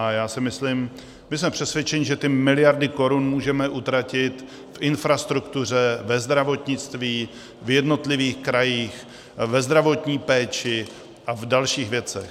A já si myslím, my jsme přesvědčeni, že ty miliardy korun můžeme utratit v infrastruktuře, ve zdravotnictví, v jednotlivých krajích, ve zdravotní péči a v dalších věcech.